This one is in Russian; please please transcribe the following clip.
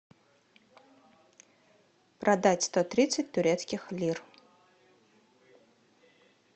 продать сто тридцать турецких лир